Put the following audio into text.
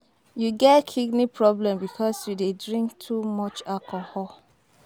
You get kidney problem because you dey drink too much alcohol